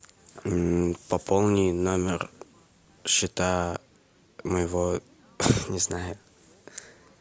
пополни номер счета моего не знаю